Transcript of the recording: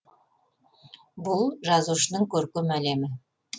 бұл жазушының көркем әлемі